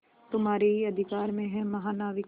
तुम्हारे ही अधिकार में है महानाविक